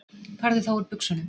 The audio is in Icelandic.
Farðu þá úr buxunum.